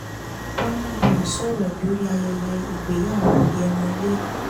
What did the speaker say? bùnà boy sọ̀rọ̀ lórí ayẹyẹ ìgbéyàwó yhémọ́ lee